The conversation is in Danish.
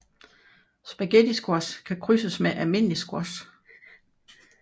Spaghettisquash kan krydses med almindelig squash